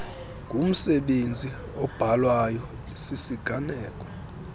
ngumsebenzi obhalwayo sisiganeko